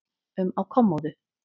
um á kommóðu.